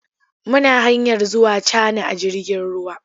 Muna hanyar zuwa Cana a jirgin ruwa.